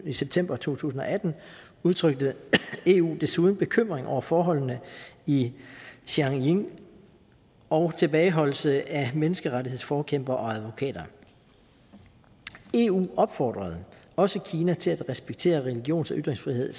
i september to tusind og atten udtrykte eu desuden bekymring over forholdene i xinjiang og tilbageholdelse af menneskerettighedsforkæmpere og advokater eu opfordrede også kina til at respektere religions og ytringsfrihed